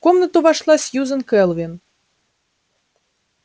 в комнату вошла сьюзен кэлвин